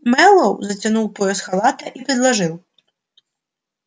мэллоу затянул пояс халата и предложил